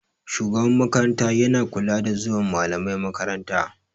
Shugaban makaranta yana kulawa da zuwan malamai makaranta.